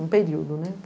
Um período, né?